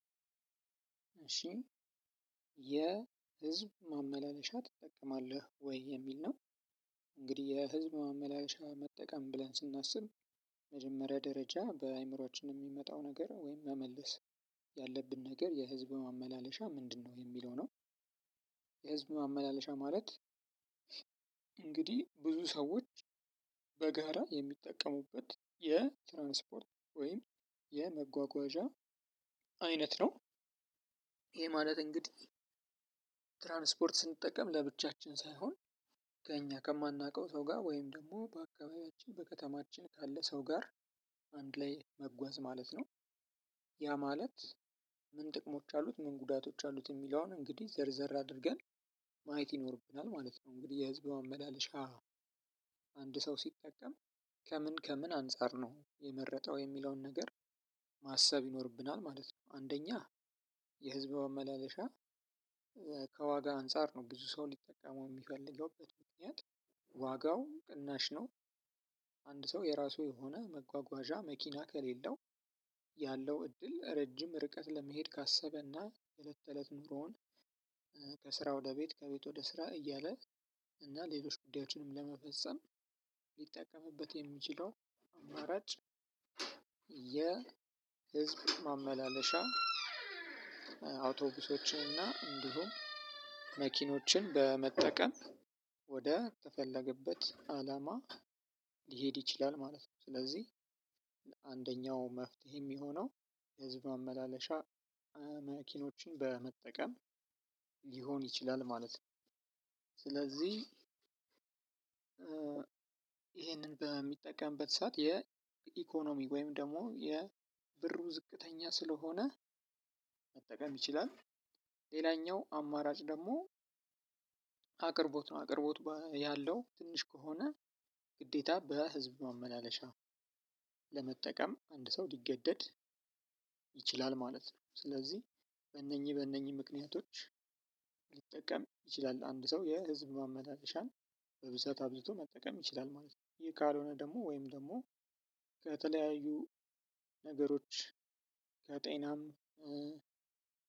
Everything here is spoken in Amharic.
እሺ የህዝብ ማመላለሻ ትጠቀማለህ ወይ? የሚል ነው እንግዲህ የህዝብ ማመላለሻ መጠቀም ብለን ስናስብ መጀመሪያ ደረጃ በአእምሮአችን የሚመጣው ነገር ወይም መመለስ ያለብን ነገር የህዝብ ማመላለሻ ምንድነው? የሚለው ነው የህዝብ ማመላለሻ ማለት እንግዲህ ብዙ ሰዎች በጋራ የሚጠቀሙበት የትራንስፖርት ወይም የመጓጓዣ አይነት ነው። ማለት እንግዲህ ትራንስፖርት ስንጠቀም ለብቻችን ሳይሆን ከእኛ ከማናውቀው ሰው ጋር ወይም ደግሞ በአካባቢያችን በከተማችን ካለ ሰው ጋር አንድ ላይ መጓዝ ማለት ነው። ያ ማለት ምን ጥቅሞች አሉት? ምን ጉዳቶች አሉት? የሚለውን እንግዲህ ዘርዘር አድርገን ማየት ይኖርብናል ማለት ነው። እንግዲህ የህዝብ ማመላለሻ አንድ ሰው ሲጠቀም ከምን ከምን አንፃር ነው የመረጠው የሚለውን ነገር ማሰብ ይኖርብናል ማለት ነው። አንደኛ የህዝብ ማመላለሻ ከዋጋ አንፃር ነው ብዙ ሰው ሊጠቀመው የሚፈልገው በዚ ምክንያት ዋጋው ቅናሽ ነው አንድ ሰው የራሱ የሆነ መጓጓዣ መኪና ከሌለው ያለው እድል ረጅም ርቀት ለመሄድ ካሰበና የእለት ከእለት ኑሮውን ከስራ ወደ ቤት ከቤት ወደ ስራ እያለ እና ሌሎች ጉዳዮችንም ለመፈጸም ሊጠቀምበት የሚችለው አማራጭ የህዝብ ማመላለሻ አዉቶቡሶችን እና እንዲሁም መኪኖችን በመጠቀም ወደ ተፈለገበት አላማ ሊሄድ ይችላል ማለት ነው። አንደኛው መፍትሄ የሚሆነው የህዝብ ማመላለሻ መኪኖችን በመጠቀም ሊሆን ይችላል ማለት ነው ስለዚህ ይሄንን በሚጠቀምበት ሰዓት የኢኮኖሚ ወይም ደግሞ የብሩ ዝቅተኛ ስለሆነ ማጠቀም ይችላል። ሌላኛው አማራጭ ደግሞ አቅርቦት ነው። አቅርቦት ያለው ትንሽ ከሆነ ግዴታ በህዝብ ማመላለሻ ለመጠቀም አንድ ሰው ሊገደድ ይችላል ማለት ነው። በነኝህ በነኝህ ምክንያቶች ሊጠቀም ይችላል። አንድ ሰው የህዝብ ማመላለሻን በብዛት አብዝቶ መጠቀም ይችላል ማለት ነው። ካልሆነ ደግሞ ወይንም ደሞ በተለያዩ ነገሮች ለጤናም